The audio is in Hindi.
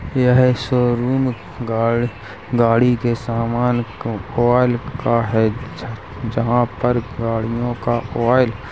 यह एक शोरूम गाड़ गाड़ी के सामान ओ आलय का है। जह जहाँ पर गाडियों का आलय --